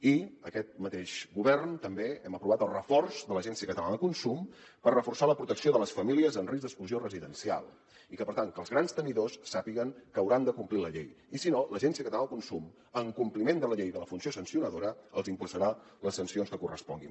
i aquest mateix govern també hem aprovat el reforç de l’agència catalana de consum per reforçar la protecció de les famílies en risc d’exclusió residencial i que per tant els grans tenidors sàpiguen que hauran de complir la llei i si no l’agència catalana de consum en compliment de la llei de la funció sancionadora els imposarà les sancions que corresponguin